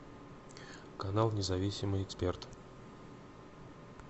канал независимый эксперт